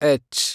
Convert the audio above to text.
H